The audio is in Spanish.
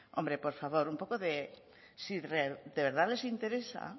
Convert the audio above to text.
hombre por favor un poco de si de verdad les interesa